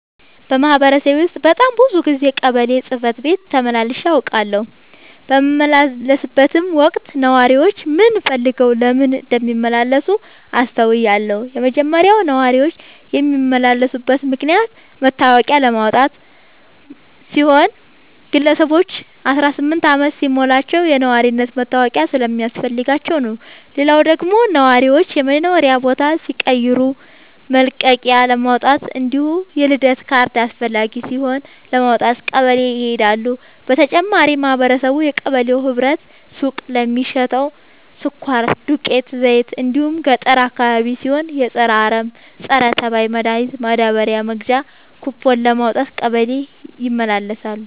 በማህበረሰቤ ውስጥ በጣም ብዙ ጊዜ ቀበሌ ጽህፈት ቤት ተመላልሼ አውቃለሁ። በምመላለስበትም ወቅት ነዋሪዎች ምን ፈልገው ለምን እንደሚመላለሱ አስተውያለሁ የመጀመሪያው ነዋሪዎች የሚመላለሱበት ምክንያት መታወቂያ ለማውጣት ሲሆን ግለሰቦች አስራስምንት አመት ሲሞላቸው የነዋሪነት መታወቂያ ስለሚያስፈልጋቸው ነው። ሌላው ደግሞ ነዋሪዎች የመኖሪያ ቦታ ሲቀይሩ መልቀቂያለማውጣት እንዲሁም የልደት ካርድ አስፈላጊ ሲሆን ለማውጣት ቀበሌ ይሄዳሉ። በተጨማሪም ማህበረቡ የቀበሌው ህብረት ሱቅ ለሚሸተው ስኳር፣ ዱቄት፣ ዘይት እንዲሁም ገጠር አካባቢ ሲሆን የፀረ አረም፣ ፀረተባይ መድሀኒት ማዳበሪያ መግዣ ኩቦን ለማውጣት ቀበሌ ይመላለሳሉ።